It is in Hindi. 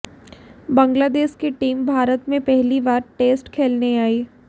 बांग्लादेश की टीम भारत में पहली बार टेस्ट खेलने आई